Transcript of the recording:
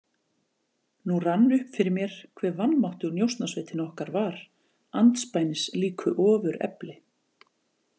Nú rann upp fyrir mér hve vanmáttug Njósnasveitin okkar var andspænis líku ofurefli.